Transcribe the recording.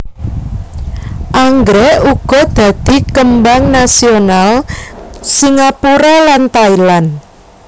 Anggrèk uga dadi kembang nasional Singapura lan Thailand